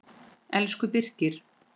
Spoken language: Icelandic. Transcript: Elsku Birkir.